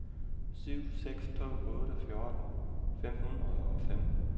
syv seks to otte fjorten fem hundrede og fem